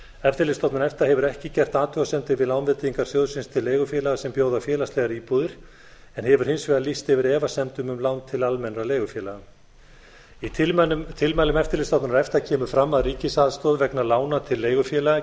eftirlitsstofnun efta hefur ekki gert athugasemdir við lánveitingar sjóðsins til leigufélaga sem bjóða félagslegar íbúðir en hefur hins vegar lýst yfir efasemdum um lán til almennra leigufélaga í tilmælum eftirlitsstofnunar efta kemur fram að ríkisaðstoð vegna lána til leigufélaga